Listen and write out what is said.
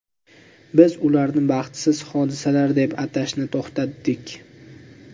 Biz ularni baxtsiz hodisalar deb atashni to‘xtatdik.